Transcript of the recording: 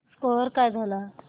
score काय झाला